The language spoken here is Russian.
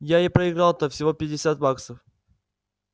я и проиграл-то всего пятьдесят баксов